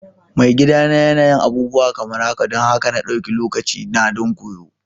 Maigidana yana yin abubuwa kamar haka don haka na ɗauki lokacina don koyo.